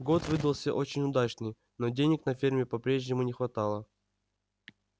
год выдался очень удачный но денег на ферме по-прежнему не хватало